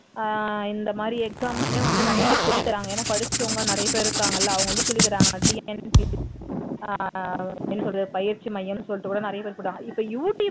அஹ் இந்த மாதிரி exam க்குனே நிறைய பேர் வந்து சொல்லிதர்றாங்க ஏன்னா படிச்சவங்க நிறைய பேர் இருக்காங்க இலல அவங்க வந்து சொல்லி தர்றாங்க அஹ் என்ன சொல்றது பயிற்சி மையம்னு சொல்லிட்டு கூட நிறைய பேர்